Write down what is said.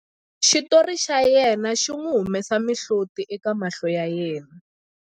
xitori xa yena xi n'wi humesa mihloti eka mahlo ya yena